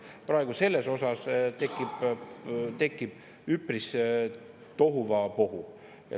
Praegu selles osas tekib üpris tohuvabohu.